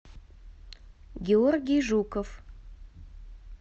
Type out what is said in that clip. георгий жуков